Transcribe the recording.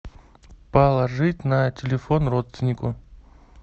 положить на телефон родственнику